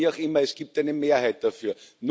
Aber wie auch immer, es gibt eine Mehrheit dafür.